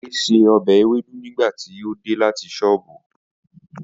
Ade ṣe ọbẹ̀ ewédú nígbà tí ó dé láti sóbù.